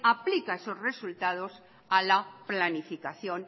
aplica esos resultados a la planificación